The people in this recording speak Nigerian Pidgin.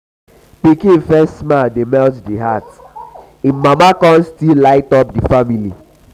pikin first smile dey melt di heart im mama con still light up di family.